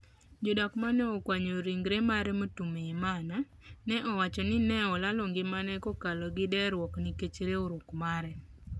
jodak ma ne okuanyo ringre mar Mutuyimana ne owacho. ni ne olalo ngimane kokalo gi deruok nikech riwruok mare.